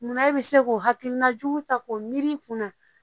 Munna e bɛ se k'o hakilina jugu ta k'o miiri kunna